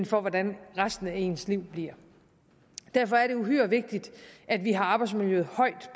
for hvordan resten af ens liv bliver derfor er det uhyre vigtigt at vi har arbejdsmiljøet højt